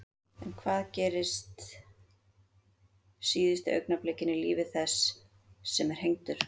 En hvað gerist síðustu augnablikin í lífi þess sem er hengdur?